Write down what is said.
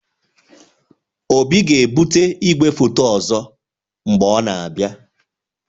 Obi ga-ebute igwefoto ọzọ mgbe ọ na-abịa